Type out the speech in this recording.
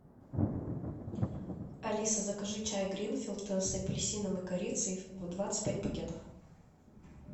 алиса закажи чай гринфилд с апельсином и корицей в двадцать пять пакетов